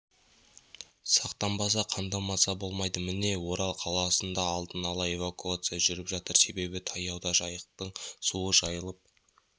сақтанбаса қамданбаса болмайды міне орал қаласында алдын ала эвакуация жүріп жатыр себебі таяуда жайықтың суы жайылып